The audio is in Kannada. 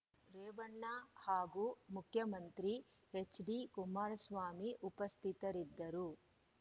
ರೇವಣ್ಣ ಹಾಗೂ ಮುಖ್ಯಮಂತ್ರಿ ಎಚ್‌ಡಿ ಕುಮಾರಸ್ವಾಮಿ ಉಪಸ್ಥಿತರಿದ್ದರು